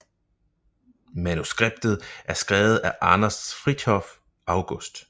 Manuskriptet er skrevet af Anders Frithiof August